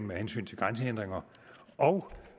med hensyn til grænsehindringer og